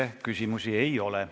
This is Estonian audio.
Teile küsimusi ei ole.